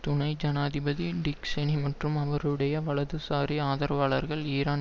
துணை ஜனாதிபதி Dick Cheney மற்றும் அவருடைய வலதுசாரி ஆதரவாளர்கள் ஈரான்